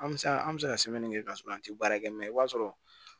An bɛ se an bɛ se ka sɛbɛnni kɛ ka sɔrɔ an ti baara kɛ mɛ i b'a sɔrɔ